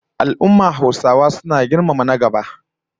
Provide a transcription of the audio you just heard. Al'ummar Hausawa suna girmama duk na gaba